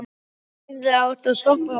Hann hefði átt að stoppa strákinn.